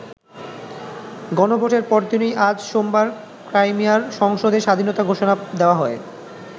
গণভোটের পরদিনই আজ সোমবার ক্রাইমিয়ার সংসদে স্বাধীনতা ঘোষণা দেওয়া হয়।